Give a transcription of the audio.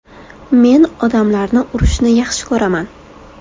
Men odamlarni urishni yaxshi ko‘raman.